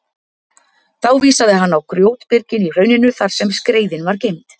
Þá vísaði hann á grjótbyrgin í hrauninu þar sem skreiðin var geymd.